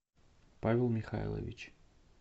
павел михайлович